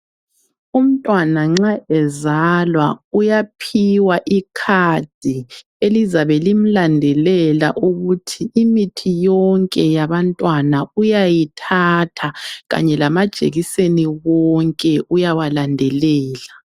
Umntwana nxa ezalwa uyaphiwa ikhadi elizabe limlandelela ukuthi imithi yonke yabantwana uyayithatha kanye lamajekiseni wonke uyawalandelela.